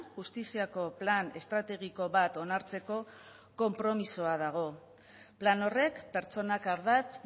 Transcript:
justiziako plan estrategiko bat onartzeko konpromisoa dago plan horrek pertsonak ardatz